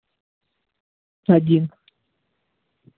один